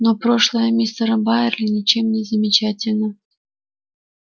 но прошлое мистера байерли ничем не замечательно